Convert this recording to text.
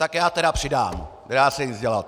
Tak já tedy přidám, nedá se nic dělat.